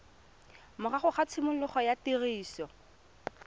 morago ga tshimologo ya tiriso